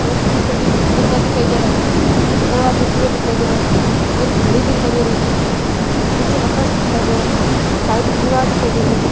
बैठने के लिए गद्दा दिखाई दे रहा है दरवाजे खुले दिखाई दे रहे है एक घड़ी दिखाई दे रही है नीचे का फर्श दिखाई दे रहा है साइड की दीवार दिखाई दे रही है।